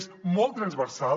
és molt transversal